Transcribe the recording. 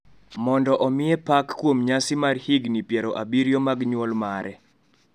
mondo omiye pak kuom nyasi mar higini piero abiriyo mag nyuol mare.